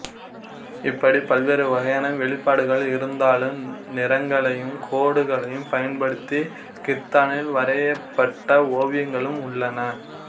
இப்படி பல்வேறு வகையான வெளிப்பாடுகள் இருந்தாளும் நிறங்களையும் கோடுகளையும் பயன்படுத்தி கித்தானில் வரையப்பட்ட ஓவியங்களும் உள்ளன